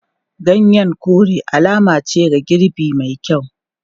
Ganyen kore alama ce ga girbi mai yawa.